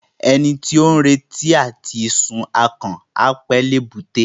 Ẹni tí ó ń retí àti sun akàn, á pẹ́ l'èbúté.